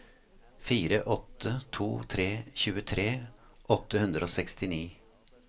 fire åtte to tre tjuetre åtte hundre og sekstini